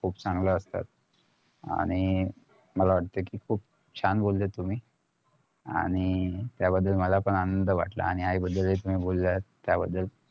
खुप चांगलं असतात आणि मला वाटतंय कि खुप छान बोलले तुम्ही आणि त्याबद्दल मला पण आनंद वाटलं आणि आई बद्दल हि बोलात त्याबद्दल